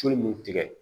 Tulu mun tigɛ